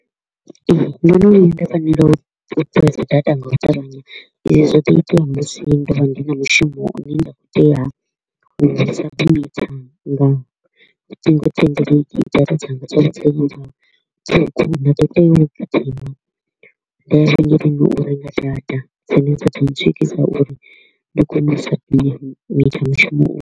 Ee, ndo no vhuya nda fanela u presser data nga u ṱavhanya, izwo zwo ḓo itea musi ndo vha ndi na mushumo u ne nda kho u tea u u submitter nga ṱhingothendeleki, data dzanga dza vha tea u gidima nda ya vhengeleni u renga data dzine dza ḓo ntswikisa uri ndi kone u submitter mushumo uyu.